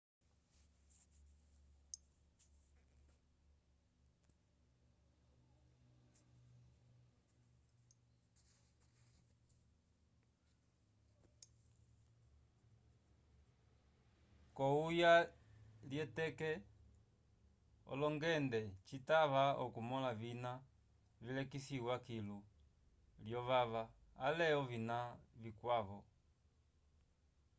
k’ohuya lyeteke olongende citava okumõla ovina vilekisiwa kilu lyovava ale ovina vikwavo